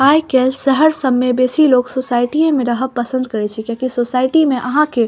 आय-काल शहर सब में बेसी लोग सोसाइटिए में रहब पसंद करे छै किया कि सोसाइटी में आहां के --